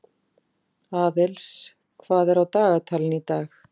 Aðils, hvað er á dagatalinu í dag?